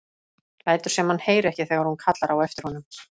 Lætur sem hann heyri ekki þegar hún kallar á eftir honum.